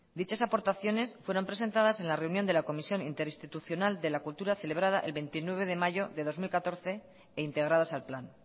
dichas aportaciones fueron presentadas en la reunión de la comisión interinstitucional de la cultura celebrada el veintinueve de mayo de dos mil catorce e integradas al plan